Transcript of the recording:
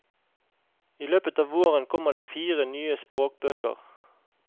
I løpet av våren kommer det fire nye språkbøker.